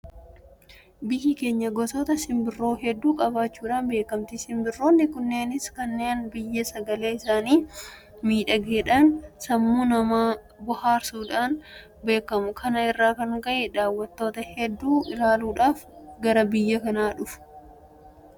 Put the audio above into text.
Biyyi keenya gosoota simbirroo hedduu qabaachuudhaan beekamti. Simbirroonni kunneenis kanneen biyya kana malee hinjirre gosa hedduutu jira. Bosona keessa yeroo deeman sagalee isaanii miidhagaadhaan sammuu namaa bohaarsuudhaan beekamu. Kana irraa kan ka'e daawwattoota hedduutu ilaaluudhaaf gara biyya kanaa dhufa.